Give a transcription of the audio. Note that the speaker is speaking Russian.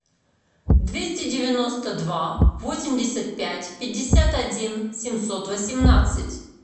двести девяносто два восемьдесят пять пятьдесят один семьсот восемнадцать